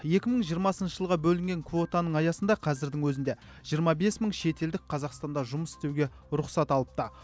екі мың жиырмасыншы жылғы бөлінген квотаның аясында қазірдің өзінде жиырма бес мың шетелдік қазақстанда жұмыс істеуге рұқсат алыпты